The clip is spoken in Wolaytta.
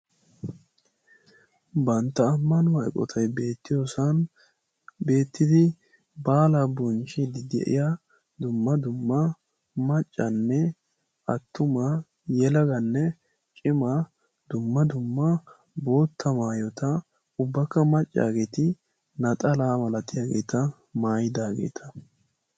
bantta ammanuwa eqqottay beetiyoosan beetidi baalaa bonchchiidi de'iya dumma dumma maccanne attuma yelaganne cimma dumma dumma bootta maayota ubakka macaageeti naxxalaa maayidaageeta maayidaageeta